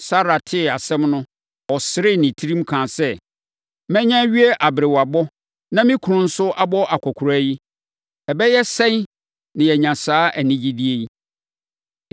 Sara tee asɛm no, ɔseree ne tirim, kaa sɛ, “Manya awie aberewabɔ, na me kunu nso abɔ akɔkoraa yi, ɛbɛyɛ sɛn na manya saa anigyedeɛ yi?”